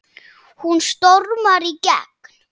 Hún stormar í gegn